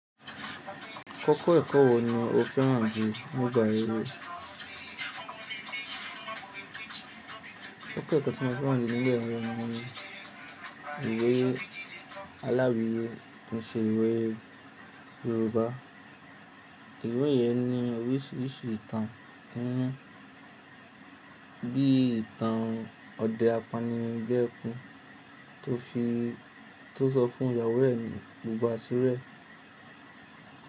Koko ẹ̀kọ́ wo ni o fẹ́ràn jù nígbà ère? Koko ẹ̀kọ́ tí mo fẹ́ràn jù ní ile iwè ni ìwé aláìwíyé tí ń ṣe ìwé Yorùbá. Ìwé yẹn ní oríṣiríṣi ìtàn kún, bí ìtàn Ọdẹ apánilẹ́ẹ̀kun tó fi tó sọ fún ìyàwó ẹ ni gbogbo asíri ẹ.